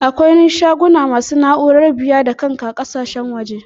Akwai shaguna masu na'urar biya-da-kanka ƙakasashen waje.